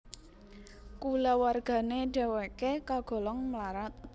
Kulawargane dheweke kagolong mlarat